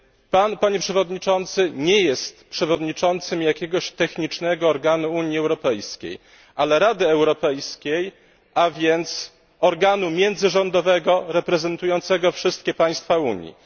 Pan, Panie Przewodniczący, nie jest przewodniczącym jakiegoś technicznego organu Unii Europejskiej, ale Rady Europejskiej, a więc organu międzyrządowego reprezentującego wszystkie państwa Unii.